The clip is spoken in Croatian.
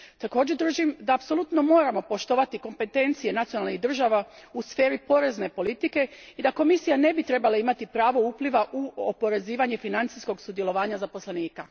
Također držim da apsolutno moramo poštovati kompetencije nacionalnih država u sferi porezne politike i da Komisija ne bi trebala imati pravo upliva u oporezivanje financijskog sudjelovanja zaposlenika.